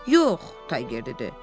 Yox, Tayger dedi.